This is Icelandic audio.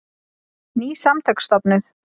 Ný samtök stofnuð